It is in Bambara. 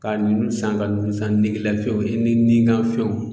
Ka nun san ka nun san negelafɛnw e nikanfɛnw